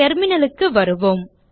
terminal க்கு வருவோம்